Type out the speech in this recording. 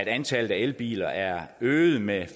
antallet af elbiler er øget med